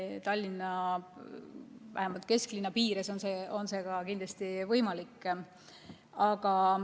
Tallinna, vähemalt kesklinna piires on see ka kindlasti võimalik.